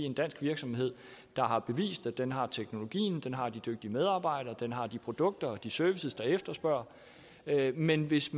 en dansk virksomhed der har bevist at den har teknologien at den har de dygtige medarbejdere og at den har de produkter og de services der efterspørges men hvis